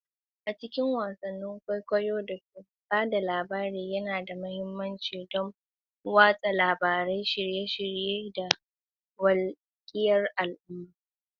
A cikin wasan kwaikwayo da fim, ba da labari yana da mahimmanci don watsa labarai, nishadantarwa, da wakiltar al'adu.